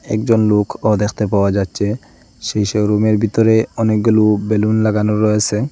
একজন লোকও দেখতে পাওয়া যাচ্ছে সেইসব রুমের বিতরে অনেকগুলো বেলুন লাগানো রয়েসে ।